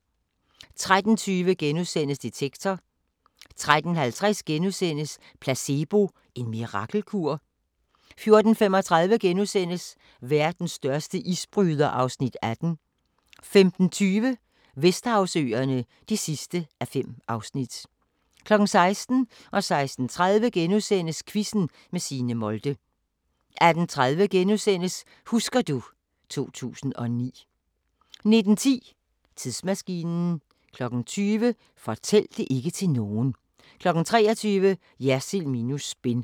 13:20: Detektor * 13:50: Placebo – en mirakelkur? * 14:35: Verdens største isbryder (Afs. 18)* 15:20: Vesterhavsøerne (5:5) 16:00: Quizzen med Signe Molde * 16:30: Quizzen med Signe Molde * 18:30: Husker du ... 2009 * 19:10: Tidsmaskinen 20:00: Fortæl det ikke til nogen 23:00: Jersild minus spin